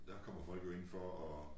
Der kommer folk jo ind for at